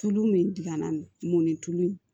Tulu min digɛnna mɔni tulu in